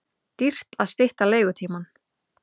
Dýrt að stytta leigutímann